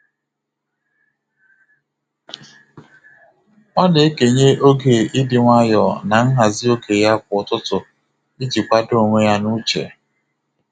Ọ na-ekenye oge ịdị nwayọ na nhazi oge ya kwa ụtụtụ iji kwado onwe ya n'uche.